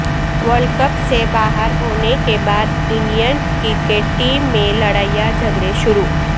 world cup سے باہر ہونے کے بعد انڈین کرکٹ ٹیم میں لڑائیاں جھگڑے شروع